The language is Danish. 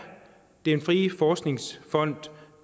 den frie forskningsfond